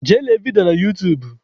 Jee lee vidio ya n'utuub